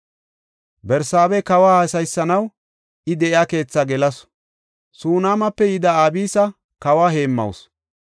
Barsaaba kawa haasayisanaw I de7iya keethaa gelasu; Sunaamape yida Abisa kawa heemmawusu.